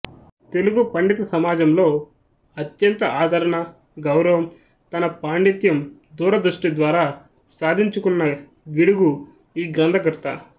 తెలుగు పండిత సమాజంలో అత్యంత ఆదరణ గౌరవం తన పాండిత్యం దూరదృష్టి ద్వారా సాధించుకున్న గిడుగు ఈ గ్రంథకర్త